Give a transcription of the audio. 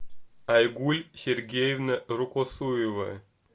альгуль сергеевна рукосуева